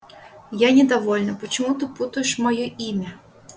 я недовольна почему ты путаешь моё имя